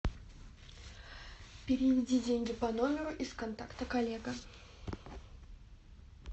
переведи деньги по номеру из контакта коллега